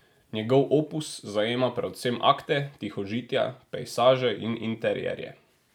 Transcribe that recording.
Njegov opus zajema predvsem akte, tihožitja, pejsaže in interierje.